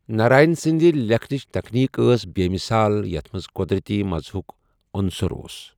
ناراین سٕندِ لیکھنٕچہِ تکنیک ٲس بےُ مِثال یتَھ منز قوٚدرتی مزاحُک انُصر اوُس ۔